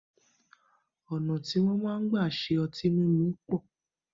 Ona ti wọn máa ń gbà ṣe ọtí mímu pọ̀